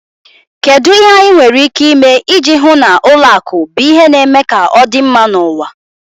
Kedu ihe anyị nwere ike ime iji hụ na ụlọ akụ bụ ihe na-eme ka ọ dị mma n'ụwa?